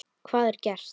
Hvað er gert?